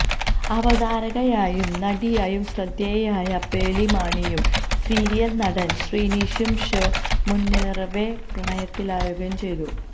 അവതാരകയായും നടിയായും ശ്രദ്ധേയയായ പേളി മാണിയും സീരിയല് നടന് ശ്രീനിഷും ഷോ മുന്നേറവെ പ്രണയത്തിലാകുകയും ചെയ്തു